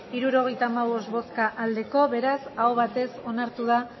hirurogeita hamabost bai beraz aho batez onartu da